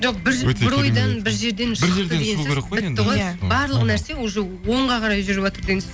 жоқ бір бір ойдан бір жерден шықты деген сөз бітті ғой барлық нәрсе уже оңға қарай жүріватыр деген сөз